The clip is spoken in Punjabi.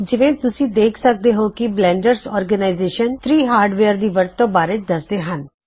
ਜਿਵੇ ਤੁਸੀ ਦੇਖ ਸਕਦੇ ਹੋ ਕੇ ਬਲੈਨਡਰ ਸੰਸਥਾ 3 ਹਾਰਡਵੇਅਰ ਦੀ ਵਰਤੋ ਬਾਰੇ ਦਸਦੇ ਹਨ